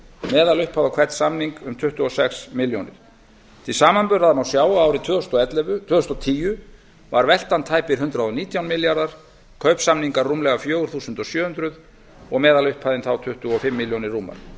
meðalupphæð á hvern samning um tuttugu og sex milljónir til samanburðar má sjá að árið tvö þúsund og tíu var veltan tæpir hundrað og nítján milljarðar kaupsamningar rúmlega fjögur þúsund sjö hundruð og meðalupphæðin þá tuttugu og fimm milljónir rúmar